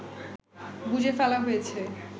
বুজে ফেলা হয়েছে